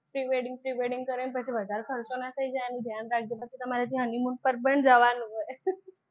pre-wedding pre-wedding કરાવીને પછી વધારે ખર્ચો ના થઈ જાય એનું ધ્યાન રાખજે પછી તમારે honeymoon પર પણ જવાનું હોય